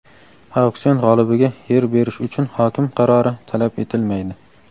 Auksion g‘olibiga yer berish uchun hokim qarori talab etilmaydi.